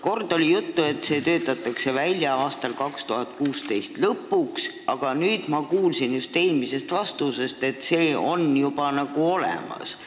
Kord oli juttu, et see töötatakse välja 2016. aasta lõpuks ja nüüd ma kuulsin eelmisest vastusest, et see on juba nagu olemas.